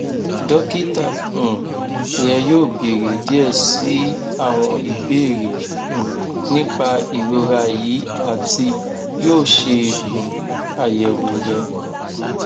dokita um rẹ yoo beere diẹ sii awọn ibeere um nipa irora yii ati yoo ṣe um ayẹwo rẹ